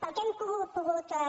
pel que hem pogut